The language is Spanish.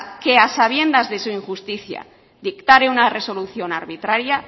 que a sabiendas de su injusticia dictare una resolución arbitraria